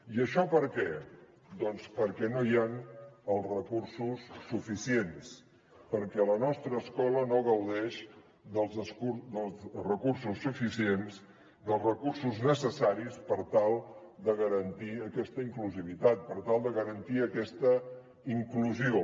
i això per què doncs perquè no hi han els recursos suficients perquè la nostra escola no gaudeix dels recursos suficients dels recursos necessaris per tal de garantir aquesta inclusivitat per tal de garantir aquesta inclusió